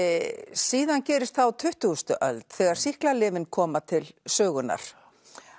síðan gerist það á tuttugustu öld þegar sýklalyfin koma til sögunnar